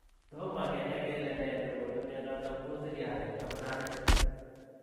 Toma kenai kelee nee negonuu mionotok uuu siryaat eng abutanik.